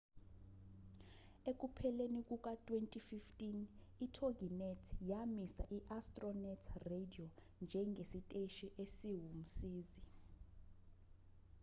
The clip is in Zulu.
ekupheleni kuka-2015 itoginet yamisa i-astronet radio njengesiteshi esiwumsizi